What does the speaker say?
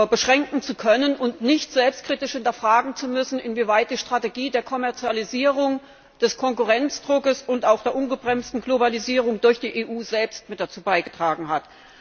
beschränken zu können und nicht selbstkritisch hinterfragen zu müssen, inwieweit die Strategie der Kommerzialisierung, des Konkurrenzdrucks und auch der ungebremsten Globalisierung durch die EU selbst mit dazu beigetragen hat.